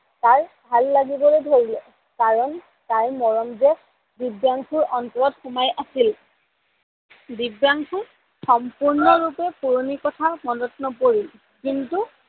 তাৰ ভাল লাগিবলৈ ধৰিলে কাৰন তাইৰ মৰম যে দিব্যাংসুৰ অন্তৰত সোমাই আছিল। দিব্যাংসুৰ সম্পূৰ্ণৰূপে পুৰনি কথা মনত নপৰিল কিন্তু